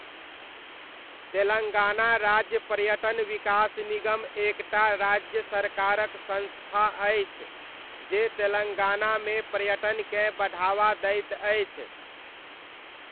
तेलङ्गाना राज्य पर्यटन विकास निगम एक टा राज्य सरकारक संस्था अछि जे तेलङ्गानामे पर्यटनकेँ बढ़ावा दैत अछि।